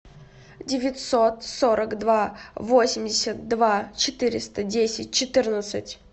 девятьсот сорок два восемьдесят два четыреста десять четырнадцать